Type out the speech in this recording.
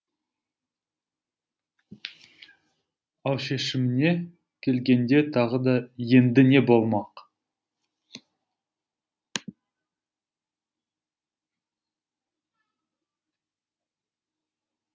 ал шешіміне келгенде тағы да енді не болмақ